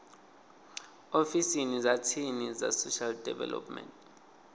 ofisini dza tsini dza social development